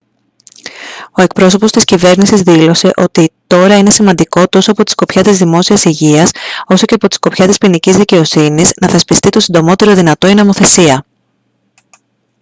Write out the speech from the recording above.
ο εκπρόσωπος της κυβέρνησης δήλωσε «ότι τώρα είναι σημαντικό τόσο από τη σκοπιά της δημόσιας υγείας όσο και από τη σκοπιά της ποινικής δικαιοσύνης να θεσπιστεί το συντομότερο δυνατό η νομοθεσία»